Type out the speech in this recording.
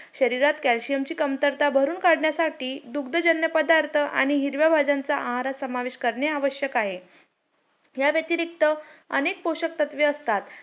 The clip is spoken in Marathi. मंग नंतर मी तेवढ्यात म्हजे समाधानी आहे. चांगले पाचशे च्या वर marks पडले. आणि नंतर मंग मी counselling करून